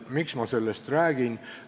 Miks ma sellest räägin?